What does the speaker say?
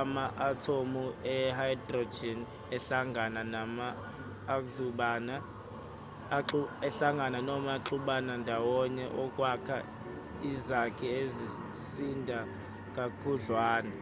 ama-athomu e-hydrogen ahlangana noma axubana ndawonye ukwakha izakhi ezisinda kakhudlwana